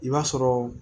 I b'a sɔrɔ